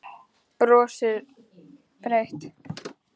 Brosir breitt.